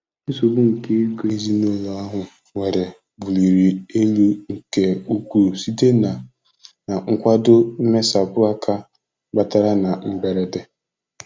Nsogbu nke ego ezinụlọ ahụ nwere buliri elu nke ukwuu site na na nkwado mmesapụ aka batara na mberede.